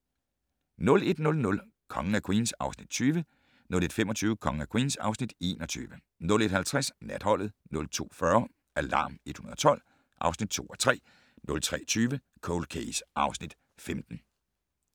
01:00: Kongen af Queens (Afs. 20) 01:25: Kongen af Queens (Afs. 21) 01:50: Natholdet 02:40: Alarm 112 (2:3) 03:20: Cold Case (Afs. 15)